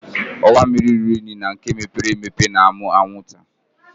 Ọwa mmiri ruru unyi na nke mepere emepe na-amụ anwụnta